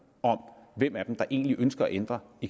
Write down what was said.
om hvem af dem der egentlig ønsker at ændre